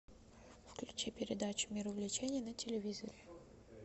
включи передачу мир увлечений на телевизоре